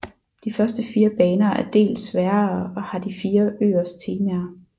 De første fire baner er del sværere og har de fire øers temaer